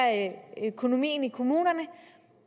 økonomien i kommunerne